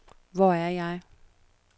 Hvor er jeg